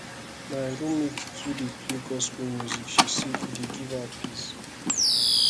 my roommate too dey play gospel music she say e dey give her peace